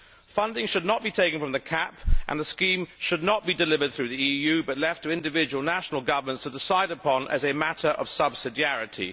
Funding should not be taken from the CAP and the scheme should not be delivered through the EU but left to individual national governments to decide upon as a matter of subsidiarity.